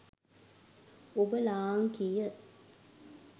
ඔබ ලාංකීය